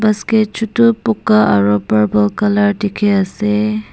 basket chutu boka aro purple color diki ase.